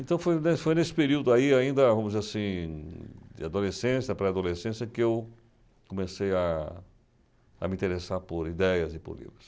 Então foi nesse foi nesse período aí ainda, vamos dizer assim, de adolescência, pré-adolescência, que eu comecei a... a me interessar por ideias e por livros.